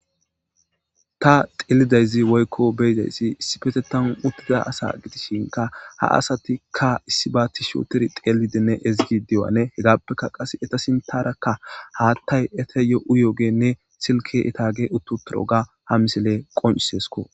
ta xillidayzi woykko beyidayssi issi pete tan uttida asa gitishinka ha asatikka issi baatti shooter xeelidinne ezigi diwane hegaappekka qase eta sintarakka haattay eta yo7u yoogenne silke etaage uttu piro ga ha misile qoncisesko